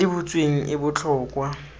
tse di butsweng e botlhokwa